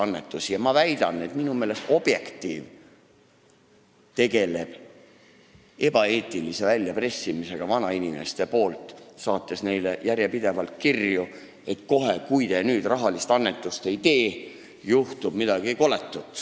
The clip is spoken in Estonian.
Minu meelest tegeleb Objektiiv ebaeetilise väljapressimisega vanainimestelt, saates neile järjepidevalt kirju, et kui te nüüd kohe rahalist annetust ei tee, siis juhtub midagi koletut.